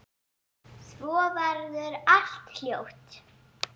Svo verður allt hljótt.